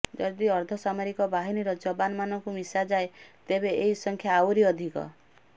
ଯଦି ଅର୍ଦ୍ଧସାମରିକ ବାହିନୀର ଯବାନ ମାନଙ୍କୁ ମିଶାଯାଏ ତେବେ ଏହି ସଂଖ୍ୟା ଆହୁରି ଅଧିକ